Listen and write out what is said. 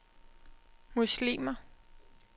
muslimer